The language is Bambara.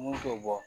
Mun t'o bɔ